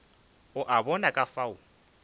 o a bona ka fao